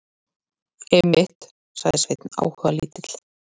Einmitt, sagði Sveinn áhugalítill.